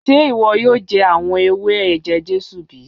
Sé iwọ yoo jẹ awọn ewé eje-Jesu bi?